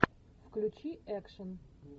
включи экшн